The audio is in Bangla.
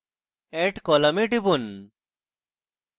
add column এ টিপুন